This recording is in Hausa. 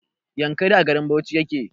Yankari a garin bauchi yake